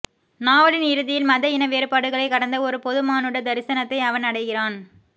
நாவலின் இறுதியில் மத இன வேறுபாடுகளைக் கடந்த ஒரு பொதுமானுட தரிசனத்தை அவன் அடைகிறான்